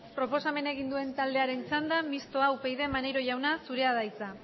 proposamena egin duen taldearen txanda mistoa upyd maneiro jauna zurea da hitza